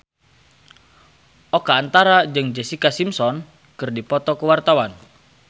Oka Antara jeung Jessica Simpson keur dipoto ku wartawan